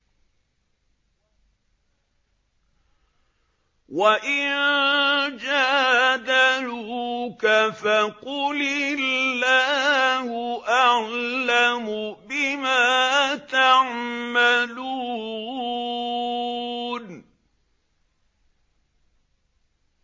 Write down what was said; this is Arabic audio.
وَإِن جَادَلُوكَ فَقُلِ اللَّهُ أَعْلَمُ بِمَا تَعْمَلُونَ